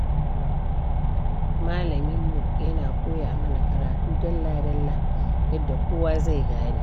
Malaminmu yana koya mana karatu dalla-dalla, yadda kowa zai gane.